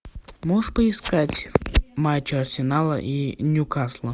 можешь поискать матч арсенала и ньюкасла